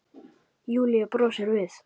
Júlía brosir við.